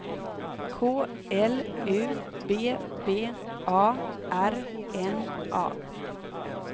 K L U B B A R N A